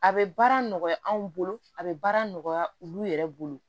A bɛ baara nɔgɔya anw bolo a bɛ baara nɔgɔya olu yɛrɛ bolo